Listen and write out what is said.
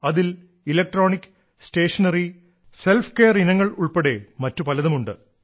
അതിൽ electronic stationery self care ഇനങ്ങൾ ഉൾപ്പെടെ പലതും ഉണ്ട്